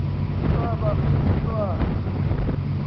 ukaba ungu mntwana